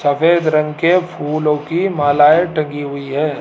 सफेद रंग के फूलों की मालाएं टंगी हुई है।